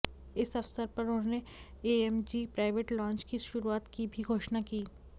इस अवसर पर उन्होंने एएमजी प्राइवेट लाँज की शुरुआत की भी घोषणा की